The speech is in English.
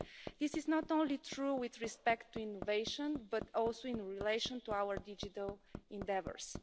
This is not only true with respect to innovation, but also in relation to our digital endeavours.